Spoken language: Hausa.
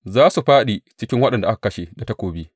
Za su fāɗi cikin waɗanda aka kashe da takobi.